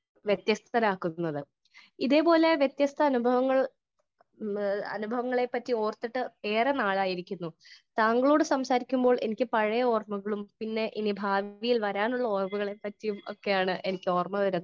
Speaker 1 വ്യത്യസ്തരാക്കുന്നത് . ഇതേ പോലെ വ്യത്യസ്ത അനുഭവങ്ങൾ അനുഭവങ്ങളെ പറ്റി ഓർത്തിട്ട് ഏറെ നാളായിരിക്കുന്നു . താങ്കളോട് സംസാരിക്കുമ്പോൾ എനിക്ക് പഴയ ഓർമകളും പിന്നെ ഇനി ഭാവിയിൽ വരാനിരിക്കുന്ന ഒരാമകളെ പാട്ടിയുമാണ് എനിക്ക് ഓർമ വരുന്നത് .